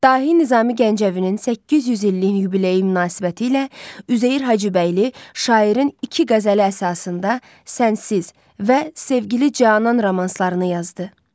Dahi Nizami Gəncəvinin 800 illik yubileyi münasibətilə Üzeyir Hacıbəyli şairin iki qəzəli əsasında “Sənsiz” və “Sevgili canan” romanslarını yazıb.